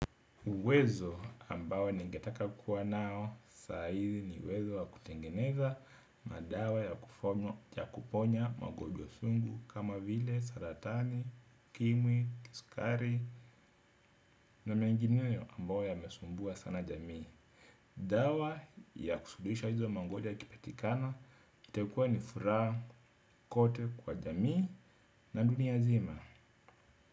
Uwezo ambao ningetaka kukua nao saa hizi ni uwezo wa kutengeneza madawa ya kuponya magonjwa wa sugu kama vile, saratani, ukimwi, kisukari na mengineyo ambayo yamesumbua sana jamii. Dawa ya kusuluhisha hizo magonjwa ikipatikana itakuwa ni furaha kote kwa jamii na dunia nzima.